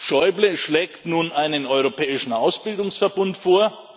Schäuble schlägt nun einen europäischen Ausbildungsverbund vor.